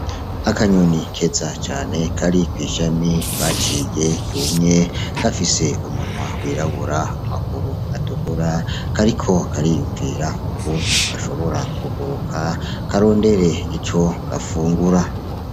Akanyoni keza cane kari kw' ishami baciye ryumye gafise umunwa wirabura, amaguru atukura kariko kariyumvira ukuntu gashobora kuguruka karondere ico gafungura.